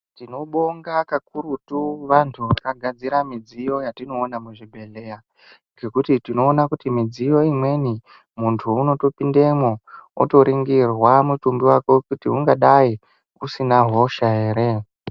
Tinobonga kakurutu vantu vakagadzira midziyo yatinoona muzvibhedhlera, ngekuti tinoona kuti midziyo imweni, muntu unotopindemo otoringirwa mutumbi wako kuti ungadai usina hosha here.